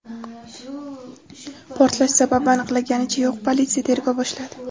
Portlash sababi aniqlanganicha yo‘q, politsiya tergov boshladi.